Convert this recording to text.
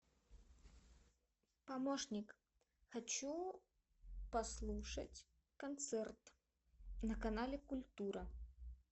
помощник хочу послушать концерт на канале культура